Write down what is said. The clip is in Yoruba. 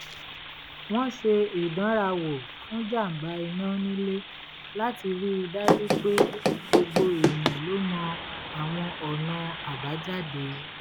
wọ́n ṣe ìdánrawò fún jàǹbá iná nílé láti rí i dájú pé gbogbo èèyàn ló mọ àwọn ọ̀nà àbájáde